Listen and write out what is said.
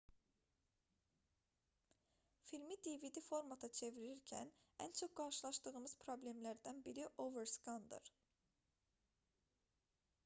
filmi dvd formata çevirirkən ən çox qarşılaşdığımız problemlərdən biri overskandır